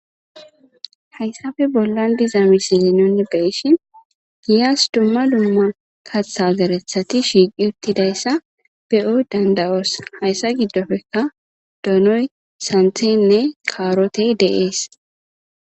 Hayssappe bollan diza misile nuuni be7ishin giyas dumma dumma kaththa zereththati shiiqi utidayssa be'o danda'os. Hessa gdoppekka; donoy, santhi, kaarotee de'ees.